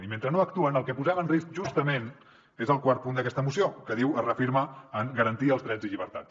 i mentre no actuen el que posem en risc justament és el quart punt d’aquesta moció que diu es reafirma a garantir els drets i llibertats